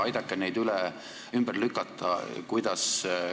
Aidake neid ümber lükata!